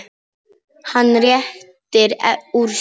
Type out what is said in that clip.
Hann rétti úr sér.